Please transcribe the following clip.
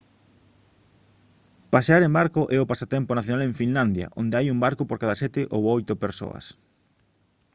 pasear en barco é o pasatempo nacional en finlandia onde hai un barco por cada sete ou oito persoas